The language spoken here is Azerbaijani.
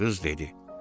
Qız dedi: